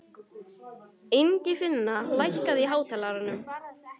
Ingifinna, lækkaðu í hátalaranum.